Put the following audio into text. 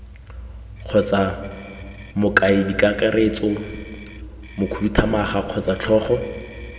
kgotsa mokaedikakaretso mokhuduthamaga kgotsa tlhogo